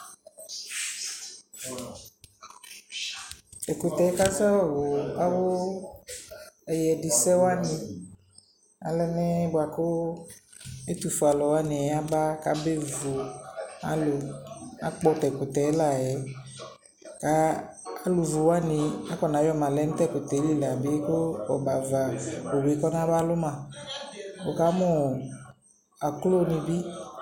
Ɛkʋtɛ kazɔ wʋ awʋ ɛyɛdɩsɛwanɩ, alɛna yɛ bʋa kʋ ɛtʋfue alʋwanɩ aba k'abevu alʋ Akpɔ tʋ ɛkʋtɛ layɛ ka alʋvuwanɩ akɔna yɔma lɛ nʋ t'ɛkɛtɛ li la bɩ kʋ ɔbɛava owu yɛ kɔnaba lʋ ma Wʋ ka mʋ aklodɩ bɩ